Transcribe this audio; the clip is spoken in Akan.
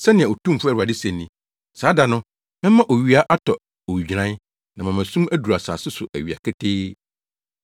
Sɛnea Otumfo Awurade se ni, “Saa da no, mɛma owia atɔ owigyinae, na mama sum aduru asase so awia ketee.